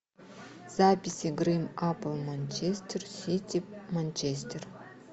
запись игры апл манчестер сити манчестер